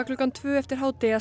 klukkan tvö eftir hádegi að